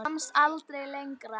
Komst aldrei lengra.